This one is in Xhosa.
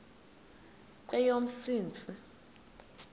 kweyomntsintsi